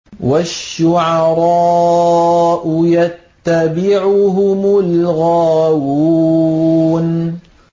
وَالشُّعَرَاءُ يَتَّبِعُهُمُ الْغَاوُونَ